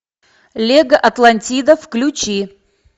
лего атлантида включи